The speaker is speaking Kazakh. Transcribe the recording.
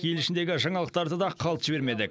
ел ішіндегі жаңалықтарды да қалт жібермедік